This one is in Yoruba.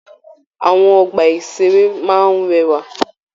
Àwọn ọgbà-ìṣeré máa n rẹwà.